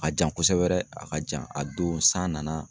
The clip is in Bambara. A ka jan kosɛbɛ dɛ, a ka jan a don san nana.